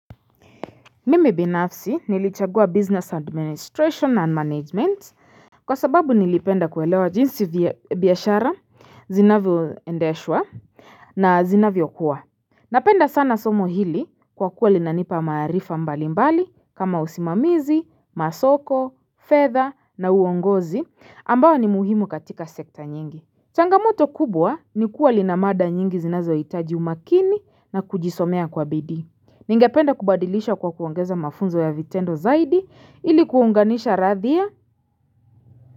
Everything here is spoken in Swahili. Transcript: Mimi binafsi nilichagua business administration and management Kwa sababu nilipenda kuelewa jinsi biashara zinavyo endeshwa na zinavyo kuwa Napenda sana somo hili kwa kuwa linanipa maarifa mbali mbali kama usimamizi masoko fedha na uongozi ambao ni muhimu katika sekta nyingi changamoto kubwa ni kuwa linamada nyingi zinazo itaji umakini na kujisomea kwa bidii Ningependa kubadilisha kwa kuongeza mafunzo ya vitendo zaidi ilikuunganisha radhia.